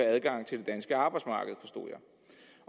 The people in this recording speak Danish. adgang til det danske arbejdsmarked